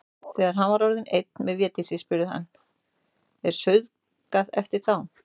Þegar hann var orðinn einn með Védísi spurði hann:-Ertu saurguð eftir þá.